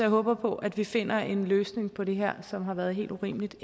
håber på at vi finder en løsning på det her som har været helt urimeligt